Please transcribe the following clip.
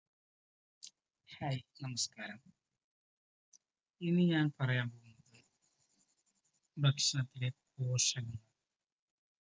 hai നമസ്‌കാരം ഇന്ന് ഞാൻ പറയാൻ പോകുന്നത് ഭക്ഷണത്തിൻ്റെ പോഷകങ്ങൾ